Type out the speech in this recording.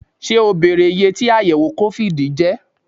Ṣé o bèrè iyé tí àyẹ̀wò COVID jẹ́?